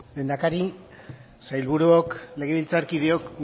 lehendakari sailburuok legebiltzarkideok